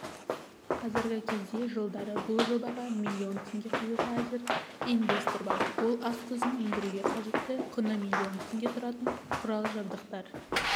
қазіргі кезде жылдары бұл жобаға миллион теңге құюға әзір инвестор бар ол ас тұзын өндіруге қажетті құны миллион теңге тұратын құрал-жабдықтар